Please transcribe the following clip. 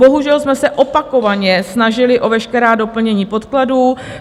Bohužel jsme se opakovaně snažili o veškerá doplnění podkladů.